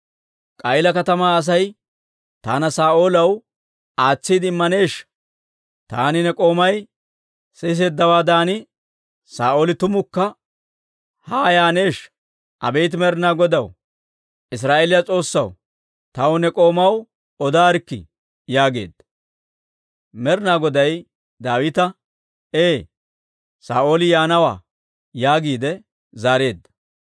K'a'iila katamaa Asay taana Saa'oolaw aatsiide immaneeshsha? Taani ne k'oomay siseeddawaadan Saa'ooli tumukka haa yaaneeshsha? Abeet Med'inaa Godaw, Israa'eeliyaa S'oossaw, taw ne k'oomaw odaarikkii» yaageedda. Med'inaa Goday Daawita, «Ee; Saa'ooli yaanawaa» yaagiide zaareedda.